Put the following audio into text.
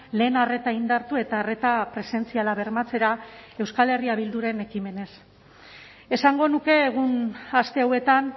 lehen arreta indartu eta arreta presentziala bermatzera euskal herria bilduren ekimenez esango nuke egun aste hauetan